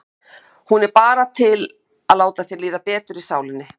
Hún er bara til að láta þér líða betur í sálinni.